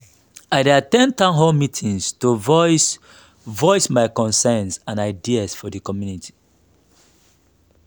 i dey at ten d town hall meetings to voice voice my concerns and ideas for the community.